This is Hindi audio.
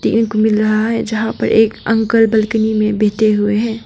मिल रहा है जहां पर एक अंकल बालकनी में बैठे हुए हैं।